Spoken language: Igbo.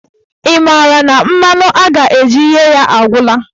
Ị maara na mmanụ a ga-eji ghee ya agwụla?